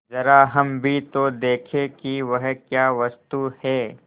जरा हम भी तो देखें कि वह क्या वस्तु है